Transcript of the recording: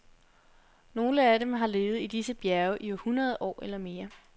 Nogle af dem har levet i disse bjerge i hundrede år eller mere.